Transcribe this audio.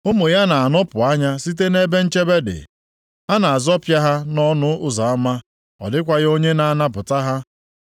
Ụmụ ya na-anọpụ anya site nʼebe nchebe dị, a na-azọpịa ha nʼọnụ ụzọ ama, ọ dịkwaghị onye na-anapụta ha.